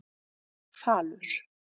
Falur